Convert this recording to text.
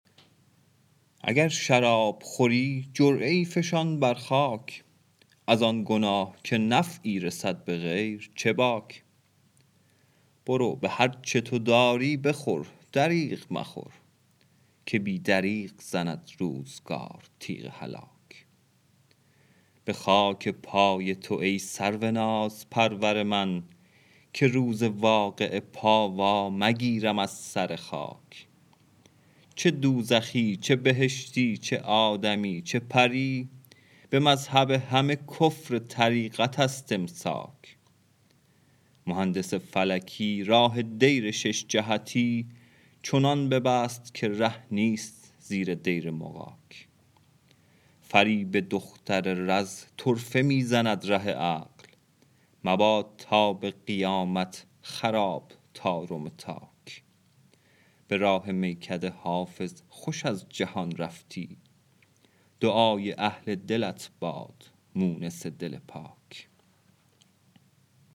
اگر شراب خوری جرعه ای فشان بر خاک از آن گناه که نفعی رسد به غیر چه باک برو به هر چه تو داری بخور دریغ مخور که بی دریغ زند روزگار تیغ هلاک به خاک پای تو ای سرو نازپرور من که روز واقعه پا وا مگیرم از سر خاک چه دوزخی چه بهشتی چه آدمی چه پری به مذهب همه کفر طریقت است امساک مهندس فلکی راه دیر شش جهتی چنان ببست که ره نیست زیر دیر مغاک فریب دختر رز طرفه می زند ره عقل مباد تا به قیامت خراب طارم تاک به راه میکده حافظ خوش از جهان رفتی دعای اهل دلت باد مونس دل پاک